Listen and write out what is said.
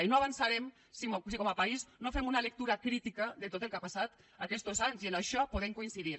i no avançarem si com a país no fem una lectura crítica de tot el que ha passat aquestos anys i en això podem coincidir